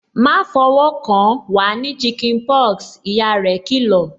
"Ma fọwọ́ kan, wa ní chicken pox" ìyá rẹ kì lọ̀